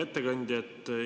Hea ettekandja!